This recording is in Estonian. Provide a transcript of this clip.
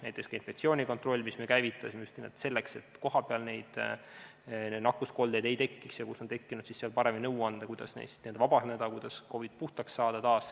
Näiteks, infektsioonikontroll, mille me käivitasime just nimelt selleks, et kohapeal nakkuskoldeid ei tekiks, ja seal, kus on tekkinud, paremini nõu anda, kuidas neist vabaneda ja COVID-ist taas puhtaks saada.